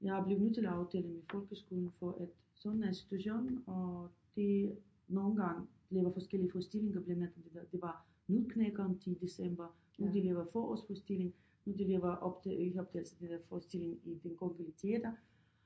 Jeg blevet nødt til at aftale med folkeskolen for at sådan er situationen og det nogle gange laver forskellige forestillinger blandt andet det var Nøddeknækkeren til december nu de laver de forårsforestilling nu de laver optag ikke optagelser det hedder en forestilling i den kongelige teater